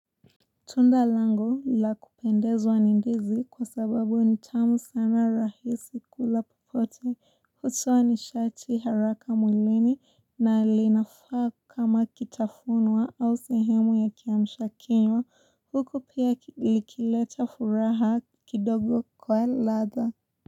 Tunda langu la kupendezwa ni ndizi kwa sababu nitamu sama rahisi kula popote hutoa nishati haraka mwilini na linafaa kama kitafunwa au sehemu ya kiamshakinywa huku pia likileta furaha kidogo kwa ladha.